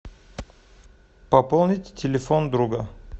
пополнить телефон друга